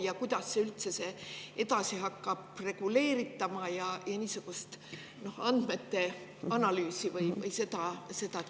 Ja kuidas seda üldse hakatakse edasi reguleerima, niisugust andmete analüüsi?